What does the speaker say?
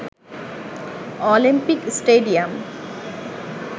Olympic stadium